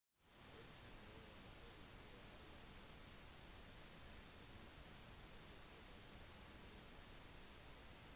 det kan være en fordel å heller benytte en agent som ofte bestiller lignende reiser